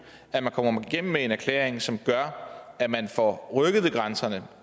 at man kommer igennem med en erklæring som gør at man får rykket ved grænserne